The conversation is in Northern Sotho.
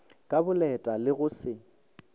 ka boleta le go se